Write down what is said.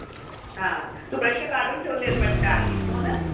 हां तू प्रश्न काढून ठेवले आहेत वाटत आधीच हो न?